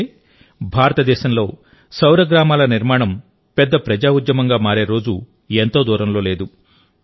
అంటే భారతదేశంలో సౌర గ్రామాల నిర్మాణం పెద్ద ప్రజా ఉద్యమంగా మారే రోజు ఎంతో దూరంలో లేదు